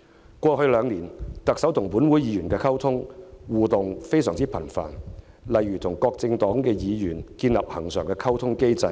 在過去兩年，特首與本會議員的溝通及互動相當頻繁，例如：與各政黨議員建立恆常溝通機制；